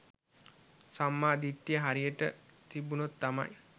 සම්මා දිට්ඨිය හරියට තිබුණොත් තමයි